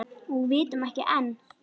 Og vitum ekki enn.